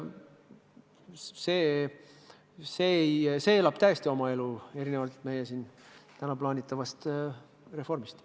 See elab täiesti oma elu, erinevalt meie tänastest plaanidest.